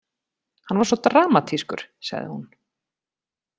Hann var svo dramatískur, sagði hún.